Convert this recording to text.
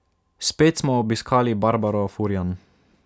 Spet smo obiskali Barbaro Furjan.